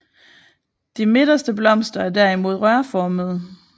De midterste blomster er derimod rørformede